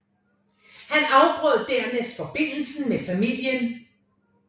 Han afbrød dernæst forbindelsen med familien